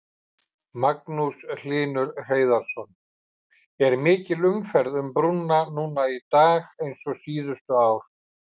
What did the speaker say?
Magnús Hlynur Hreiðarsson: Er mikil umferð um brúnna núna í dag og síðustu ár?